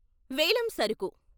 వేలం సరుకు